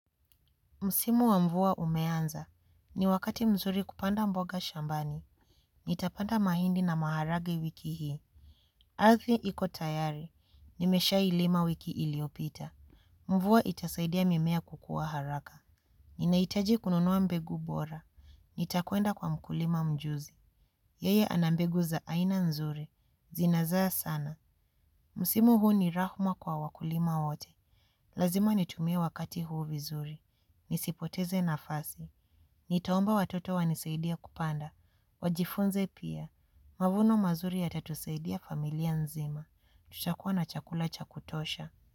Msimu wa mvua umeanza. Ni wakati mzuri kupanda mboga shambani. Nitapanda mahindi na maharage wiki hii. Arthi iko tayari. Nimesha ilima wiki iliopita. Mvua itasaidia mimea kukua haraka. Ninahitaji kununua mbegu bora. Nitakuenda kwa mkulima mjuzi. Yeye ana mbegu za aina nzuri. Zinazaa sana. Msimu huu ni rahuma kwa wakulima wote. Lazima nitumie wakati huu vizuri. Nisipoteze nafasi. Nitaomba watoto wanisaidie kupanda. Wajifunze pia. Mavuno mazuri yatatusaidia familia nzima. Tutakuwa na chakula cha kutosha.